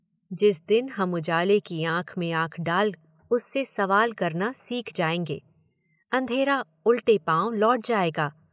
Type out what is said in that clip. जिस दिन हम उजाले की आंख में आंख डाल उससे सवाल करना सीख जाएंगे, अंधेरा उलटे पाँव लौट जाएगा।